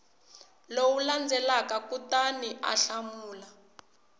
lowu landzelaka kutani u hlamula